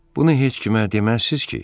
Bunu heç kimə deməzsiz ki?